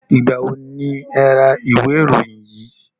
Ìgbà wo ni e ra ìwé ìròyìn yìí?